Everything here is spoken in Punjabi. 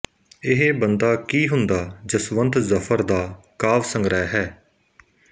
ਇਹ ਬੰਦਾ ਕੀ ਹੁੰਦਾ ਜਸਵੰਤ ਜ਼ਫਰ ਦਾ ਕਾਵਿਸੰਗ੍ਰਹਿ ਹੈ